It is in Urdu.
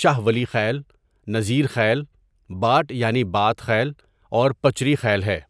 شاہ ولی خیل، نظیر خیل، باٹ یعنی باټ خیل اور پچری خیل ہے.